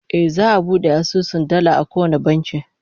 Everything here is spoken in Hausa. Eh, za'a iya bude asusun dala a kowane banki